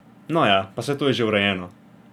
No ja, pa saj to je že urejeno.